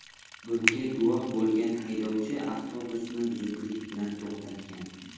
Bunga guvoh bo‘lgan haydovchi avtobus ni zudlik bilan to‘xtatgan.